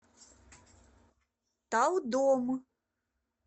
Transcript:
талдом